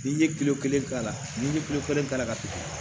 N'i ye kelen k'a la ni ye kelen k'a la ka tigɛ